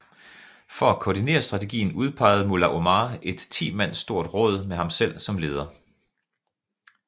For at koordinere strategien udpegede Mullah Omar et ti mand stort råd med ham selv som leder